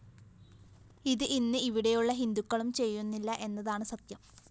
ഇത്‌ ഇന്ന്‌ ഇവിടെയുള്ള ഹിന്ദുക്കളും ചെയ്യുന്നില്ല എന്നതാണ്‌ സത്യം